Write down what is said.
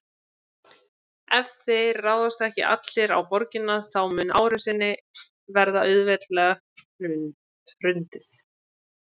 Ef þeir ráðast ekki allir á borgina þá mun árásinni verða auðveldlega hrundið.